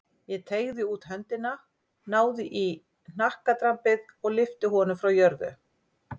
Ég teygði út höndina, náði í hnakkadrambið og lyfti honum frá jörðu.